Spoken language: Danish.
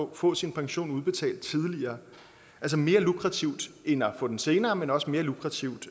at få sin pension udbetalt tidligere altså mere lukrativt end at få den senere men også mere lukrativt